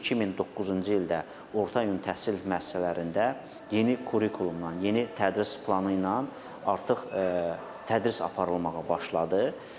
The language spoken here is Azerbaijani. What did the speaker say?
2009-cu ildə orta təhsil müəssisələrində yeni kurikulumla, yeni tədris planı ilə artıq tədris aparılmağa başladı.